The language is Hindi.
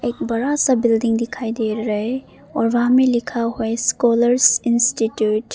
बड़ा सा बिल्डिंग दिखाई दे रहे और वहां में लिखा हुआ स्कॉलर्स इंस्टीट्यूट ।